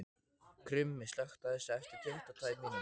Krummi, slökktu á þessu eftir tuttugu og tvær mínútur.